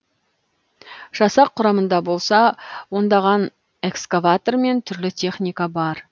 жасақ құрамында болса ондаған экскаватор мен түрлі техника бар